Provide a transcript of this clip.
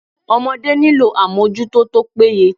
Ọmọdé nílò àmójútó tó péye.